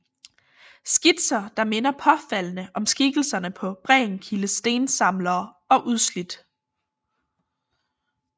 Skitser der minder påfaldende om skikkelserne på Brendekildes Stensamlere og Udslidt